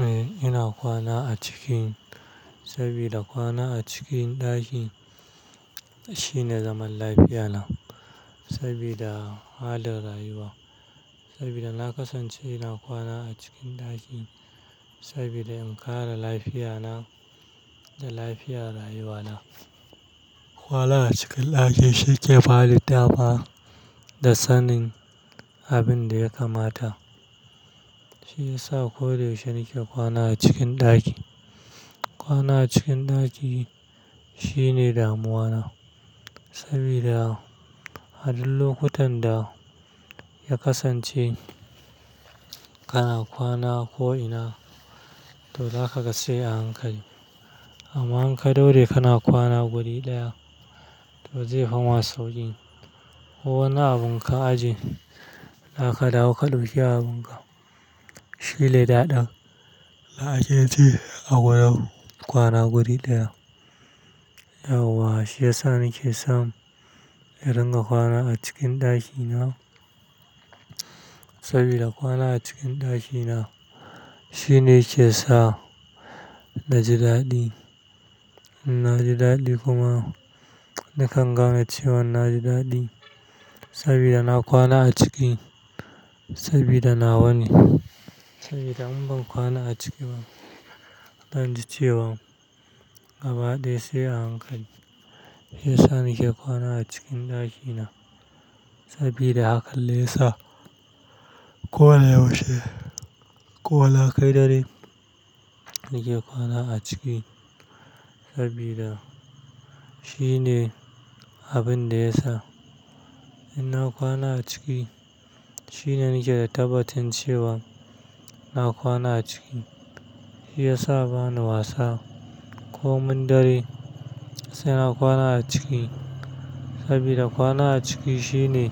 Eh, ina kwana a ciki saboda kwana a cikin ɗaki shine zaman lafiya na saboda halin rayuwa. Saboda na kasance ina kwana a cikin ɗaki saboda in kare lafiya na da lafiyar rayuwa na. Kwana a cikin ɗaki shi ke bani da dama da sanin abin da ya kamata. Shi ya sa koyaushe nake kwana a cikin ɗaki. Kwana a cikin ɗaki shine damuwa na saboda a duk lokutan da ya kasance kana kwana ko ina, to zakaga sai a hankali. Amma in ka daure kana kwana guri ɗaya, to zai fima sauƙin. Ko wani abun ka ajiye, zaka dawo ka dauki abun ka. Shine daɗin da ake ji a gurin kwana guri ɗaya. Yauwa shi ya sa nake san in dinga kwana a cikin ɗaki na. Saboda kwana a cikin ɗaki na shine yake sa na ji daɗi. Na ji daɗi kuma nakan gane cewa na ji daɗi saboda na kwana a ciki saboda nawa ne. Saboda in ban kwana a ciki ba, zan ji cewa gabaɗaya sai a hankali. Ya sa nake kwana a cikin ɗaki na saboda hakan ne ya sa ko da yaushe, ko na kai dare nake kwana a ciki saboda shine abin da ya sa in na kwana a ciki shine nake da tabbacin cewa na kwana a ciki. Shi ya sa bani wasa komin dare sai na kwana a ciki saboda kwana a ciki shine